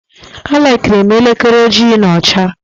A likirim elekere ojii na ọcha